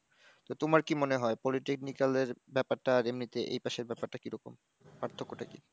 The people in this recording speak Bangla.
তো তোমার কি মনে হয় polytechnical এর ব্যাপারটা আর এমনিতে এই পাশের ব্যাপারটা কি রকম? পার্থক্যটা কি?